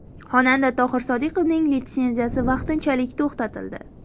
Xonanda Tohir Sodiqovning litsenziyasi vaqtinchalik to‘xtatildi.